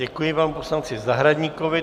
Děkuji panu poslanci Zahradníkovi.